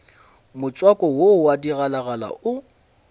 motswako wo wa digalagala o